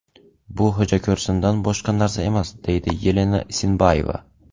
Bu xo‘jako‘rsindan boshqa narsa emas”, deydi Yelena Isinbayeva.